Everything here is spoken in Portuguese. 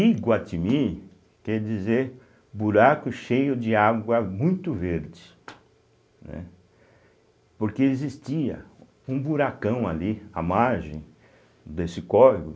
Iguatimi quer dizer buraco cheio de água muito verde, né, porque existia um buracão ali, a margem desse córrego,